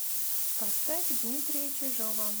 поставь дмитрия чижова